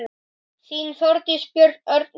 Þín, Þórdís, Björn, Örn, Guðjón.